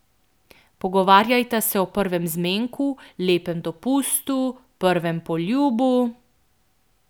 Pogovarjajta se o prvem zmenku, lepem dopustu, prvem poljubu ...